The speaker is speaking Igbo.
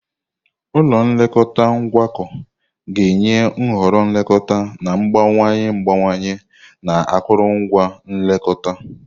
Ụlọ nlekọta ngwakọ ga-enye nhọrọ nlekọta na-agbanwe agbanwe na akụrụngwa nkekọrịta.